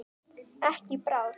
Ekki í bráð.